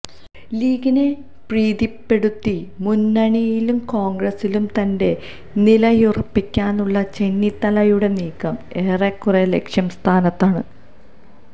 ലീഗിനെ പ്രീതിപ്പെടുത്തി മുന്നണിയിലും കോണ്ഗ്രസിലും തന്റെ നിലയുറപ്പിക്കാനുള്ള ചെന്നിത്തലയുടെ നീക്കം ഏറെക്കുറെ ലക്ഷ്യ സ്ഥാനത്താണ്